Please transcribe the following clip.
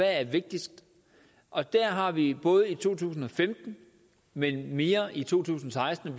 er vigtigst og der har vi både i to tusind og femten men mere i to tusind og seksten og